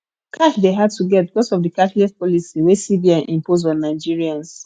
cash de hard to get because of di cashless policy wey cbn impose on nigerians